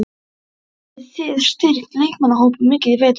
Hafið þið styrkt leikmannahópinn mikið í vetur?